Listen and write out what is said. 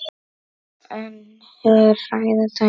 En hér hræða dæmin.